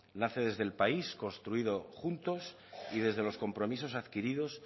nace desde el país construido juntos y desde los compromisos adquiridos